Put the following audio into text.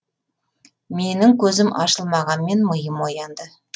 менің көзім ашылмағанмен миым оянды